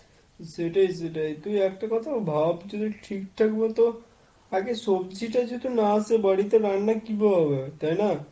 সেটাই সেটাই তুই একটা কথা ভাব, যদি ঠিক থাকে মতো আগে সব্জিটা যদি না আসে বাড়িতে রান্না কিভাবে হবে? তাই না?